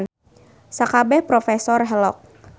Sakabeh profesor helok.